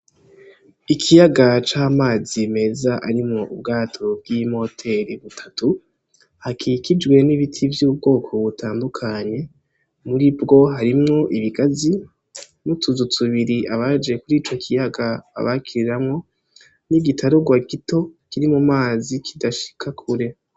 Ikiyaga c'amazi meza arimwo ubwato bw'imoteri butatu hakikijwe n'ibiti vy'ubwoko butandukanye, muribwo harimwo ibigazi n'utuzu tubiri abaje kuri ico kiyaga babakiriramwo n'igitarugwa gito kiri mumazi kidashika kure.